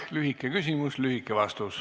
Lühike küsimus, lühike vastus.